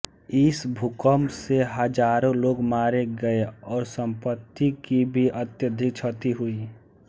इस भूकम्प से हज़ारों लोग मारे गए और सम्पत्ति की भी अत्यधिक क्षति हुई